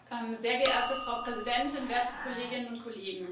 Sehr geehrte Frau Präsidentin, werte Kolleginnen und Kollegen!